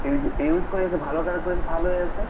use use কৰি আছে ভালৰ কাৰণে কৰি আছে ভাল হৈ আছে